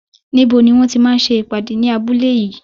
Níbo ni wọ́n ti máa ń ṣe ìpàdé ní abúlé yìí?